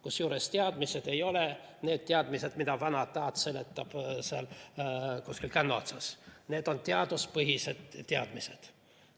Kusjuures teadmised ei ole need teadmised, mida vanataat seletab kuskil kännu otsas, need on teaduspõhised teadmised.